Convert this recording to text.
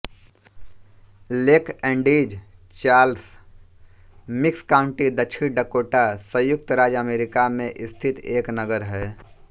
lake Andes Charles Mix County दक्षिण Dakota संयुक्त राज्य अमेरिका में स्थित एक नगर है